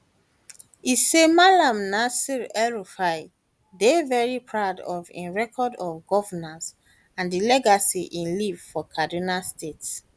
e say malam nasir elrufai dey very proud proud of im record of governance and di legacy e leave for kaduna state